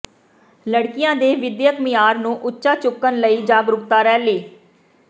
ਲੜਕੀਆਂ ਦੇ ਵਿਦਿਅਕ ਮਿਆਰ ਨੂੰ ਉੱਚਾ ਚੁੱਕਣ ਲਈ ਜਾਗਰੂਕਤਾ ਰੈਲੀ